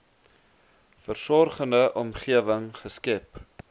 versorgende omgewing geskep